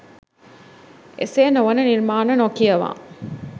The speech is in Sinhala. එසේ නො වන නිර්මාණ නොකියවා